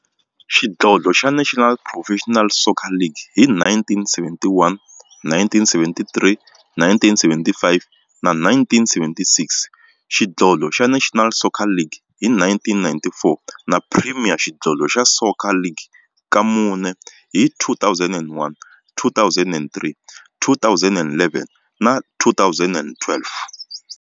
Xidlodlo xa National Professional Soccer League hi 1971, 1973, 1975 na 1976, xidlodlo xa National Soccer League hi 1994, na Premier Xidlodlo xa Soccer League ka mune, hi 2001, 2003, 2011 na 2012.